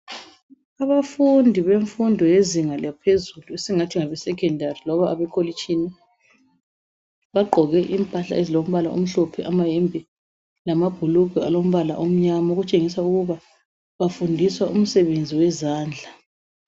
Abafundi bemfundo yezinga laphezulu esingathi ngabesekhendari, loba abekolitshini bagqoke impahla ezilombala omhlophe amayembe lamabhulugwe alombala omnyama, okutshengisa ukuba bafundiswa umsebenzi wezandla.